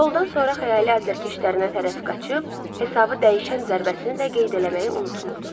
Qoldan sonra xəyali azərkeşlərinə tərəf qaçıb, hesabı dəyişən zərbəsini də qeyd eləməyi unutmurdu.